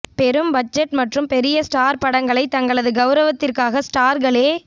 பெரும் பட்ஜெட் மற்றும் பெரிய ஸ்டார் படங்களை தங்களது கௌரவத்திற்காக ஸ்டார்களே